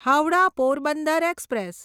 Howrah Porbandar express